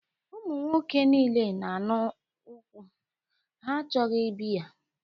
Ụmụ nwoke niile na-aṅụ nkwụ, ha achọghị biya